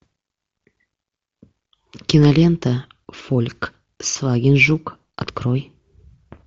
кинолента фольксваген жук открой